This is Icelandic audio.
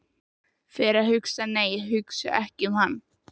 Og fer að hugsa- nei, hugsa ekki um hann!